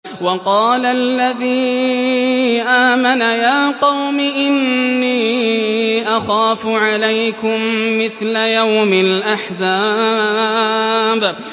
وَقَالَ الَّذِي آمَنَ يَا قَوْمِ إِنِّي أَخَافُ عَلَيْكُم مِّثْلَ يَوْمِ الْأَحْزَابِ